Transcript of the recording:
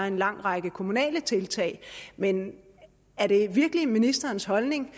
en lang række kommunale tiltag men er det virkelig ministerens holdning